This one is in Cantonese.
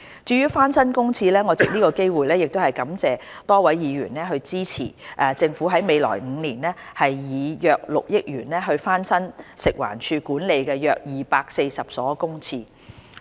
至於翻新公廁方面，我藉此機會感謝多位議員支持政府在未來5年以約6億元翻新食環署管理的約240所公廁。